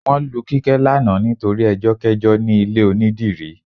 Wọ́n lu Kíkẹ́ lánàá nítorí ẹjọ́kẹ́jọ́ ní ilé onídìrí